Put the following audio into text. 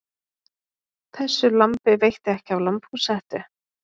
Þessu lambi veitti ekki af lambhúshettu.